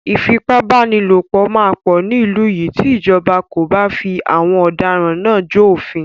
Ìfipábánilòpọ̀ máa pọ̀ ní ìlú yìí tí ìjọba kò bá fi àwọn ọ̀daràn náà jó òfin.